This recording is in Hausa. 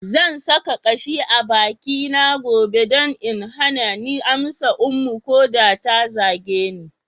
Zan sa kashi a bakina gobe don in hana ni amsa Ummu ko da ta zage ni.